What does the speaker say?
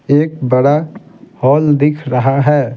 एक बड़ा हॉल दिख रहा है।